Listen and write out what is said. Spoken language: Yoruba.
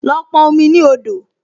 Lọ pọn omi ní odò!